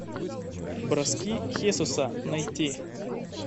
броски хесуса найти